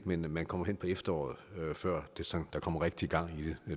men at man kommer hen på efteråret før der kommer rigtig gang i det